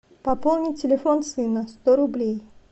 пополни телефон сына сто рублей